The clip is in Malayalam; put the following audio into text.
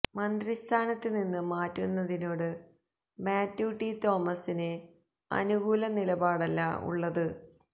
മന്ത്രിസ്ഥാനത്ത് നിന്ന് മാറ്റുന്നതിനോട് മാത്യു ടി തോമസിന് അനൂകൂല നിലപാടല്ല ഉള്ളത്